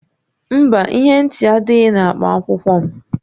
Mba, ihe ntị adịghị na akpa akwụkwọ m